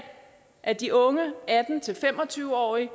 at de unge atten til fem og tyve årige